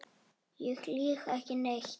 Ég lýg ekki neitt.